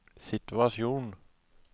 situasjon